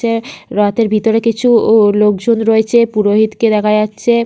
যে রথের ভিতরে কিছু-উ লোকজন রয়েছে পুরোহিতকে দেখা যাচ্ছে।